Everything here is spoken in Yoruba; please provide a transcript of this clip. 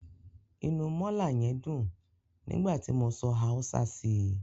Inú mọ́là yẹn dùn nígbà tí mo sọ Haúsá sí i.